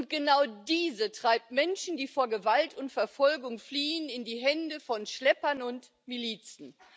Und genau diese treibt Menschen, die vor Gewalt und Verfolgung fliehen, in die Hände von Schleppern und Milizen.